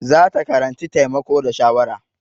Za ta karanci taimako da shawara.